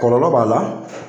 Kɔlɔlɔ b'a la